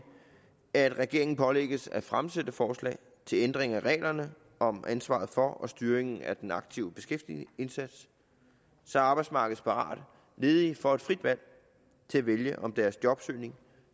at regeringen pålægges at fremsætte forslag til ændring af reglerne om ansvaret for og styringen af den aktive beskæftigelsesindsats så arbejdsmarkedsparate ledige får et frit valg til at vælge om deres jobsøgning